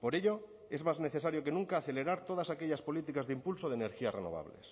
por ello es más necesario que nunca acelerar todas aquellas políticas de impulso de energías renovables